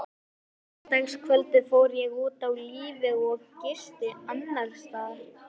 Á laugardagskvöldið fór ég út á lífið og gisti annarsstaðar.